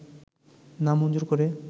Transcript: না মঞ্জুর করে